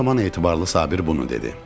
O zaman Etibarlı Sabir bunu dedi: